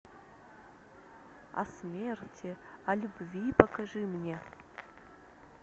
о смерти о любви покажи мне